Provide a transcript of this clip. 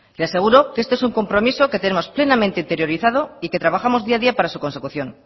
le aseguro que este es un compromiso que tenemos plenamente interiorizado y que trabajamos día a día para su consecución